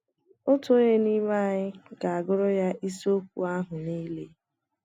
Otu onye n’ime anyị ga - agụrụ ya isiokwu ahụ nile.